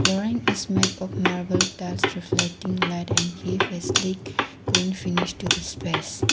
flooring is made of marble tiles reflecting light and clean finish to the space.